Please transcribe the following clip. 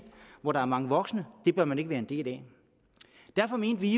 hvor der er mange voksne det bør man ikke være en del af derfor mente vi